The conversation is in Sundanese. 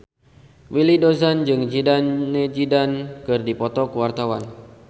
Willy Dozan jeung Zidane Zidane keur dipoto ku wartawan